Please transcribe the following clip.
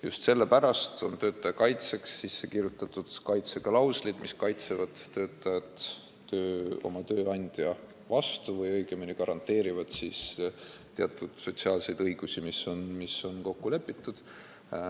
Just sellepärast on töötaja kaitseks seadusesse kirjutatud kaitseklauslid, mis kaitsevad töötajat tööandja eest või õigemini garanteerivad teatud sotsiaalseid õigusi, mis on kokku lepitud.